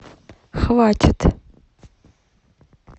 хватит